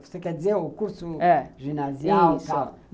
Você quer dizer o curso, é, ginasial?